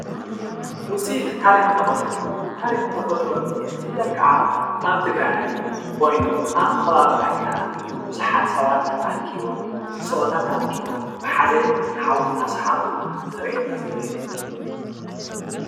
ዉፅኢት ታሪኽን ተፈጥሮን:- ታሪኽን ተፈጥሮን ብፍላይ ክዓ ኣብ ትግራይ ኮይኑ ኣብ ከባቢ ራያ ቡዙሓት ሰባት ተኣኪቦም ንፀወታ ተኣኪቦም ብሓደ ሓዊ እናስሓኑ ዝርአየና ዘሎ እዩ።